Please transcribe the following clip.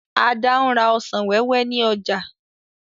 Ada n rà ọsàn wẹ́wẹ́ ní ọjà